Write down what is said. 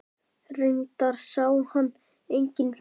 Reyndar sá hann enginn fyrir.